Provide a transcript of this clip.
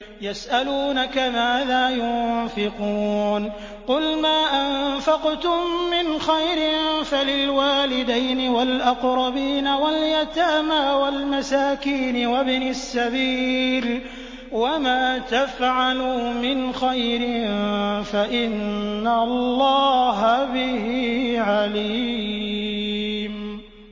يَسْأَلُونَكَ مَاذَا يُنفِقُونَ ۖ قُلْ مَا أَنفَقْتُم مِّنْ خَيْرٍ فَلِلْوَالِدَيْنِ وَالْأَقْرَبِينَ وَالْيَتَامَىٰ وَالْمَسَاكِينِ وَابْنِ السَّبِيلِ ۗ وَمَا تَفْعَلُوا مِنْ خَيْرٍ فَإِنَّ اللَّهَ بِهِ عَلِيمٌ